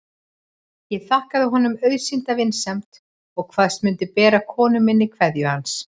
Ég þakkaði honum auðsýnda vinsemd og kvaðst mundu bera konu minni kveðju hans.